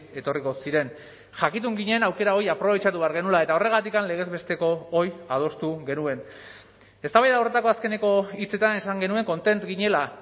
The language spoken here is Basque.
etorriko ziren jakitun ginen aukera hori aprobetxatu behar genuela eta horregatik legez besteko hori adostu genuen eztabaida horretako azkeneko hitzetan esan genuen kontentu ginela